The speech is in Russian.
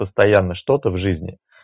постоянно что-то в жизни